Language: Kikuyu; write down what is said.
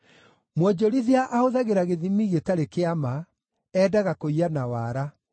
Mwonjorithia ahũthagĩra gĩthimi gĩtarĩ kĩa ma; endaga kũiya na wara.